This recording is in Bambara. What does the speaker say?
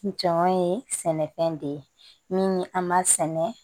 Jɔn ye sɛnɛfɛn de ye min an b'a sɛnɛ